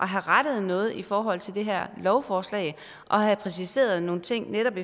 have rettet noget i forhold til det her lovforslag og have præciseret nogle ting netop